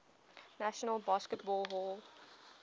national baseball hall